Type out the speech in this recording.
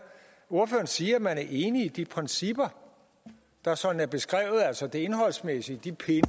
ordføreren siger at man er enig i de principper der sådan er beskrevet altså det indholdsmæssige de pinde